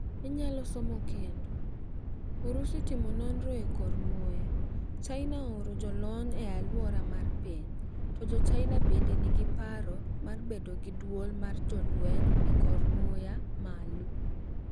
Inyalo somo kendo: Urusi timo nonro e kor muya . China ooro jolony e aluora mar piny. To jochina bende ni gi paro mar bedo gi duol mar jolweny e kor muya malo.